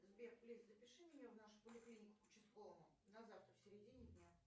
сбер плиз запиши меня в нашу поликлинику к участковому на завтра в середине дня